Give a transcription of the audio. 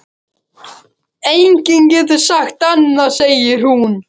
Enginn getur sagt annað, segir hún.